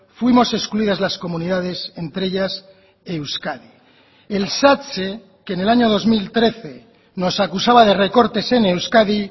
fuimos excluidas las comunidades entre ellas euskadi el satse que en el año dos mil trece nos acusaba de recortes en euskadi